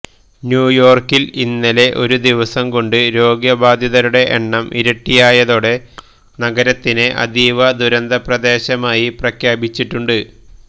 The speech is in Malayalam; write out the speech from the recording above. ന്യൂയോർക്കിൽ ഇന്നലെ ഒരു ദിവസം കൊണ്ട് രോഗബാധിതരുടെ എണ്ണം ഇരട്ടിയായതോടെ നഗരത്തിനെ അതീവ ദുരന്ത പ്രദേശമായി പ്രഖ്യാപിച്ചിട്ടുണ്ട്